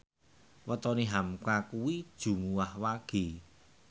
wetone hamka kuwi Jumuwah Wage